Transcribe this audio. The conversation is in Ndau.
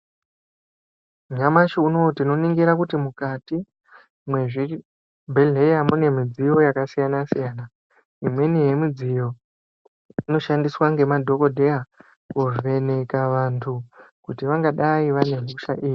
Nyamashi unowu tinoningira kuti mukati mwezvibhehleya mune midziyo yakasiyana siyana. Imweni yemidziyo inoshandiswa ngemadhodheya kuvheneka vantu kuti vangadai vane hosha.